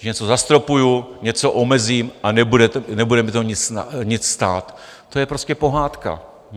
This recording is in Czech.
Když něco zastropuju, něco omezím a nebude mě to nic stát - to je prostě pohádka.